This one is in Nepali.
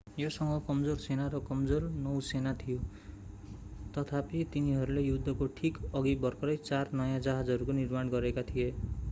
योसँग कमजोर सेना र कमजोर नौसेना थियो तथापि तिनीहरूले युद्धको ठीक अघि भर्खरै चार नयाँ जहाजहरूको निर्माण गरेका थिए